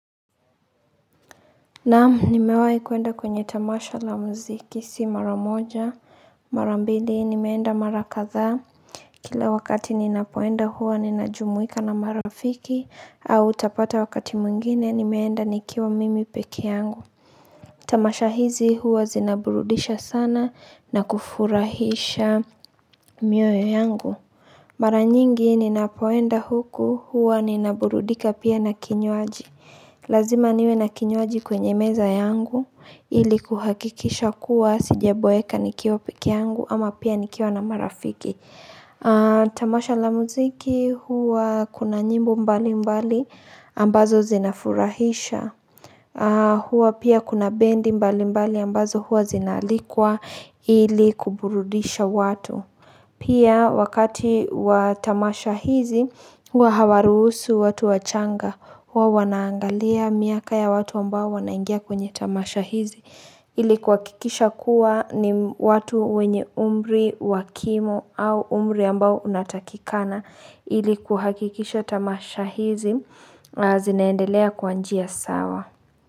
Naam, nimewahi kwenda kwenye tamasha la mziki si mara moja mara mbili nimeenda mara kadhaa Kila wakati ninapoenda huwa ninajumuika na marafiki au utapata wakati mwingine nimeenda nikiwa mimi peke yangu Tamasha hizi huwa zinaburudisha sana na kufurahisha mioyo yangu Mara nyingi ninapoenda huku huwa ninaburudika pia na kinywaji. Lazima niwe na kinywaji kwenye meza yangu ili kuhakikisha kuwa sijaboeka nikiwa peke yangu ama pia nikiwa na marafiki. Tamasha la muziki huwa kuna nyimbo mbali mbali ambazo zinafurahisha. Huwa pia kuna bendi mbali mbali ambazo huwa zinaalikwa ili kuburudisha watu. Pia wakati watamasha hizi huwa hawaruhusu watu wachanga huwa wanaangalia miaka ya watu ambao wanaingia kwenye tamasha hizi ili kuhakikisha kuwa ni watu wenye umri wakimo au umri ambao unatakikana ili kuhakikisha tamasha hizi zinaendelea kwa njia sawa.